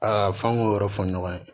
Aa f'an k'o yɔrɔ fɔ ɲɔgɔn ye